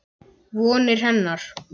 Vonir hennar.